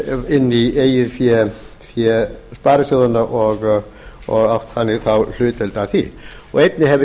inn í eigið fé sparisjóðanna og átt þannig þá hlutdeild að því einnig hefur